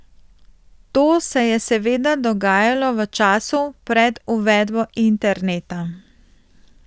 To se je seveda dogajalo v času pred uvedbo interneta.